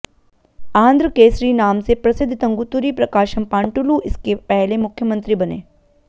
आंध्र केसरी नाम से प्रसिद्ध तंगुतुरी प्रकाशम पांटुलु इसके पहले मुख्यमंत्री बने